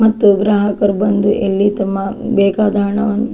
ಮತ್ತು ಗ್ರಾಹಕರು ಬಂದು ಇಲ್ಲಿ ತಮ್ಮ ಬೇಕಾದ ಹಣವನ್ನು.